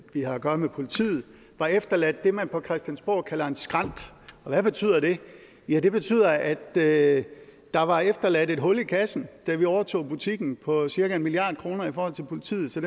vi har at gøre med politiet var efterladt det man på christiansborg kalder en skrænt og hvad betyder det ja det betyder at at der var efterladt et hul i kassen da vi overtog butikken på cirka en milliard kroner i forhold til politiet så